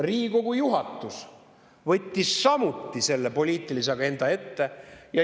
Riigikogu juhatus võttis samuti selle poliitilise agenda ette.